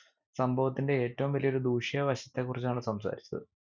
സംഭവത്തിന്റെ ഏറ്റവും വലിയ ഒരു ദൂഷ്യ വശത്തെ കുറിച്ചാണ് സംസാരിച്ചത്